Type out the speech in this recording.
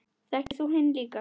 Þekktir þú hinn líka?